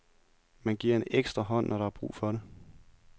Man giver en ekstra hånd, når der er brug for det.